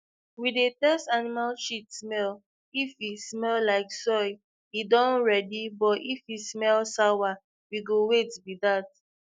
we dey test animal shit smell if e smell like soil e don ready but if e smell sour we go wait be that